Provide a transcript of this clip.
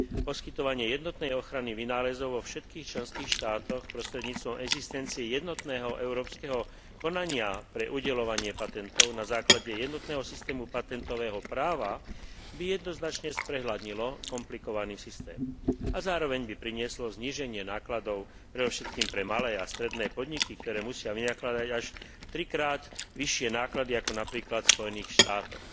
Poskytovanie jednotnej ochrany vynálezov vo všetkých členských štátoch prostredníctvom existencie jednotného európskeho konania pre udeľovanie patentov na základe jednotného systému patentového práva by jednoznačne sprehľadnilo komplikovaný systém a zároveň by prinieslo zníženie nákladov predovšetkým pre malé a stredné podniky, ktoré musia vynakladať až trikrát vyššie náklady, ako napríklad v Spojených štátoch.